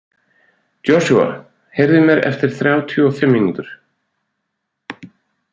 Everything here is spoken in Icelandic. Joshua, heyrðu í mér eftir þrjátíu og fimm mínútur.